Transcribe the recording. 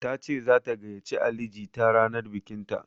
Tace zata gayyace Ali jita ranar bikinta.